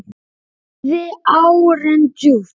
Dýfði árinni djúpt.